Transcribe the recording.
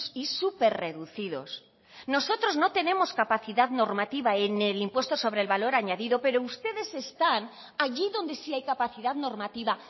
y superreducidos nosotros no tenemos capacidad normativa en el impuesto sobre el valor añadido pero ustedes están allí donde sí hay capacidad normativa